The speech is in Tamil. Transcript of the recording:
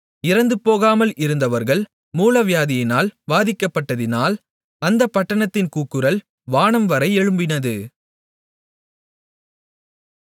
இறந்துபோகாமல் இருந்தவர்கள் மூலவியாதியினால் வாதிக்கப்பட்டதினால் அந்தப் பட்டணத்தின் கூக்குரல் வானம்வரை எழும்பினது